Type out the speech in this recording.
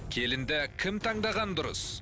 келінді кім таңдаған дұрыс